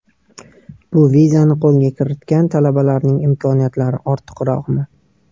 Bu vizani qo‘lga kiritgan talabalarning imkoniyatlari ortiqroqmi?